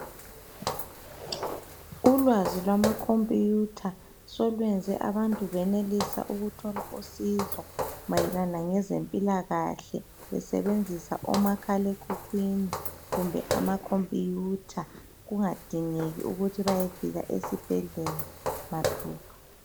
Ulwazi lwamacomputer solweze abantu benelisa ukuthola usizo mayelana ngezempilakahle besebenzisa omakhala ekhukwini kumbe amacomputer kungadingeki ukuthi bayefika esibhedlela mathupha.